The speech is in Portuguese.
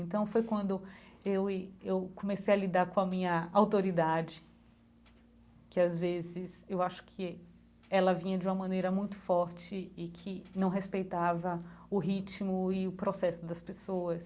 Então foi quando eu e eu comecei a lidar com a minha autoridade, que às vezes eu acho que ela vinha de uma maneira muito forte e que não respeitava o ritmo e o processo das pessoas.